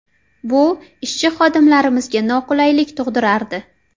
Bu ishchi xodimlarimizga noqulaylik tug‘dirardi.